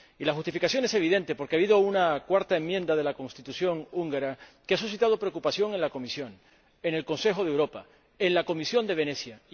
La justificación es evidente, porque ha habido una cuarta enmienda de la Constitución húngara que ha suscitado preocupación en la Comisión, en el Consejo de Europa y en la Comisión de Venecia.